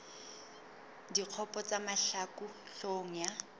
dikgopo tsa mahlaku hloohong ya